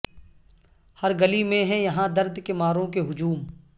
ہر گلی میں ہیں یہاں درد کے ماروں کے ہجوم